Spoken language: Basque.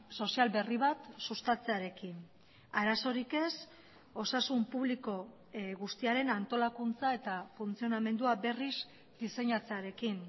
sozial berri bat sustatzearekin arazorik ez osasun publiko guztiaren antolakuntza eta funtzionamendua berriz diseinatzearekin